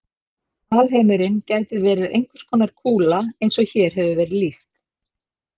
Alheimurinn gæti verið einhvers konar kúla eins og hér hefur verið lýst.